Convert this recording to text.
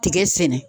Tigɛ sɛnɛ